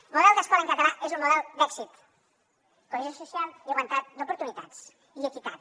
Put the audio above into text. el model d’escola en català és un model d’èxit cohesió social igualtat d’oportunitats i equitat